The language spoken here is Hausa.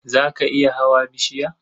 Za ka iya hawa bishiya?